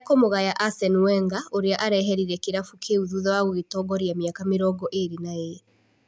Ekũmũgaya Asen Wenga ũrĩa areherire kĩrabu kĩu thutha wa gũgĩtongoria mĩaka mĩrongo ĩrĩ na ĩrĩ.